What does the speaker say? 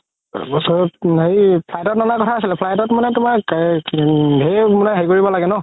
তাৰ পিছত হেৰি flight ত flight তুমাৰ ধেৰ কৰিব লাগে ন